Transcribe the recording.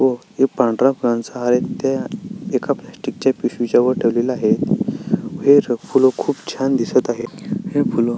व एक पांढऱ्या फुलांचा हार आहे तिथे एका प्लॅस्टिक च्या पिशवी च्या वर ठेवलेली आहेत फुलं खुप छान दिसत आहेत ही फुलं--